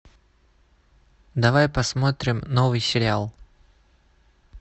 давай посмотрим новый сериал